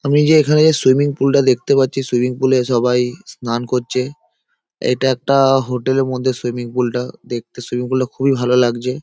আমি যে এখানে সুইমিং পুলটা দেখতে পাচ্ছি | সুইমিং পুলে সবাই স্নান করছে। এইটা একটা হোটেল -এর মধ্যে সুইমিং পুল টা | দেখতে সুইমিং পুলটা খুবই ভালো লাগছে |